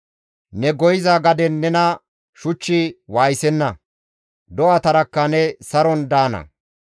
Ne goyiza gaden nena shuchchi waayisenna; do7atarakka ne saron daana.